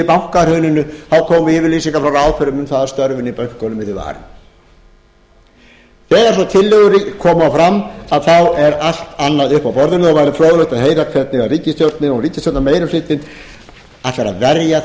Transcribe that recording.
bankahruninu komu yfirlýsingar frá ráðherrum um að störfin í bönkunum yrðu varin þegar svo tillögur koma fram er allt annað uppi á borðinu og væri fróðlegt að heyra hvernig ríkisstjórnin og ríkisstjórnarmeirihlutinn ætlar að verja það